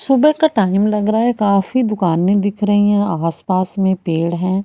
सुबह का टाइम लग रहा है। काफी दुकाने दिख रही है। आसपास में पेड़ है।